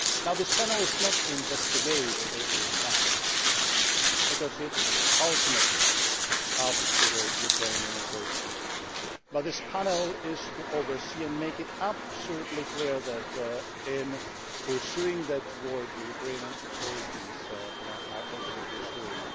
The panel is not there to investigate all those crimes, because that is ultimately up to the Ukrainian authorities, but this panel is to oversee and make absolutely clear that, in pursuing that work, the Ukrainian authorities are also pursuing